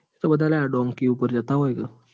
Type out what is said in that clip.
એ બધા તો ડોન્કીઓ પાર જત્તા હોય.